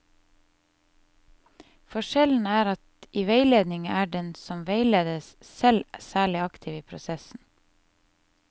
Forskjellen er at i veiledning er den som veiledes, selv særlig aktiv i prosessen.